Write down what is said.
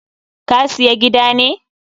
Ka siya gida ne?